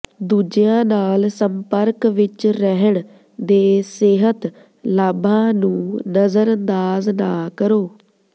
ਦੂਜਿਆਂ ਨਾਲ ਸੰਪਰਕ ਵਿੱਚ ਰਹਿਣ ਦੇ ਸਿਹਤ ਲਾਭਾਂ ਨੂੰ ਨਜ਼ਰਅੰਦਾਜ਼ ਨਾ ਕਰੋ